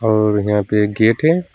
और यहां पे एक केक है।